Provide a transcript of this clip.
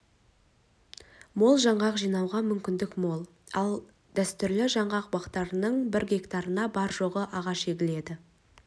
мол жаңғақ жинауға мүмкіндік мол ал дәстүрлі жаңғақ бақтарының бір гектарына бар жоғы ағаш егіледі